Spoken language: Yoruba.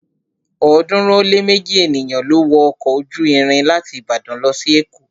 ọ̀ọ́dúnrún ó lé méji ènìyàn ló wọ ọkọ̀ ojú irin láti Ìbàdàn lọ sí èkó